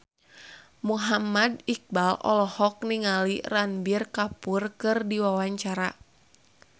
Muhammad Iqbal olohok ningali Ranbir Kapoor keur diwawancara